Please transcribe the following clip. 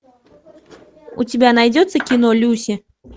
у тебя найдется кино люси